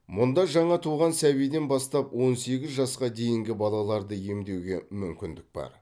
мұнда жаңа туған сәбиден бастап он сегіз жасқа дейінгі балаларды емдеуге мүмкіндік бар